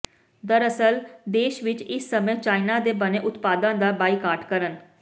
ਦਰਅਸਲ ਦੇਸ਼ ਵਿੱਚ ਇਸ ਸਮੇਂ ਚਾਇਨਾ ਦੇ ਬਣੇ ਉਤਪਾਦਾਂ ਦਾ ਬਾਈਕਾਟ ਕਰਨ